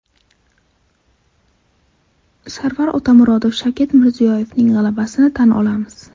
Sarvar Otamuratov: Shavkat Mirziyoyevning g‘alabasini tan olamiz.